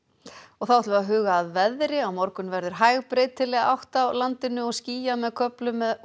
þá að veðri á morgun verður hæg breytileg átt á landinu og skýjað með köflum